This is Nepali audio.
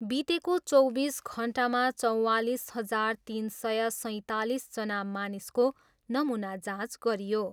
बितेको चौबिस घन्टामा चौवालिस हजार तिन सय सैँतालिसजना मानिसको नमुना जाँच गरियो।